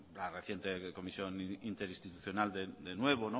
la reciente comisión interinstitucional de nuevo